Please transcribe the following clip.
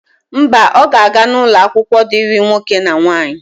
Mba, ọ ga-aga n'ụlọakwụkwọ dịrị nwoke na nwaanyị.